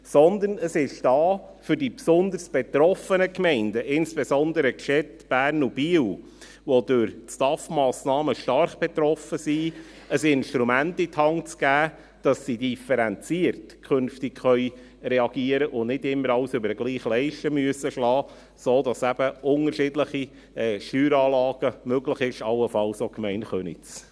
Dieses ist jedoch für die besonders betroffenen Gemeinden da – insbesondere für die Städte Bern und Biel, welche von den STAFMassnahmen stark betroffen sind – und soll ihnen ein Instrument in die Hand geben, damit sie künftig differenziert reagieren können und nicht immer alles über die gleiche Leiste schlagen müssen, sodass eben unterschiedliche Steueranlagen möglich sind, allenfalls auch betreffend die Gemeinde Köniz.